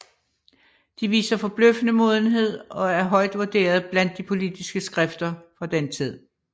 De viser forbløffende modenhed og er højt vurderet blandt de politiske skrifter fra den tid